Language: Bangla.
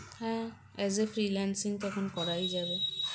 হ্যাঁ as a freelancing তখন করাই যাবে